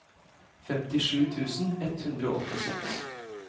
femtisju tusen ett hundre og åttiseks